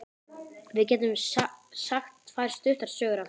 Við getum sagt tvær stuttar sögur af því.